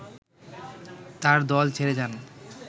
তার দল ছেড়ে যান